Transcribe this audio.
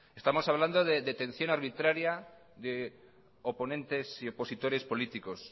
estamos hablando de detección arbitraria de oponentes y opositores políticos